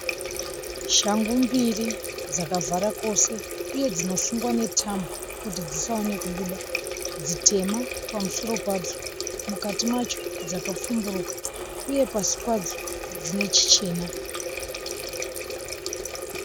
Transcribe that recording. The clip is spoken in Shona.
Shangu mbiri dzakavhara kwose uye dzinosungwa netambo kuti dzisaone kubuda. Dzitema pamusoro padzo. Mukati macho dzakapfumburuka uye pasi padzo dzine chichena.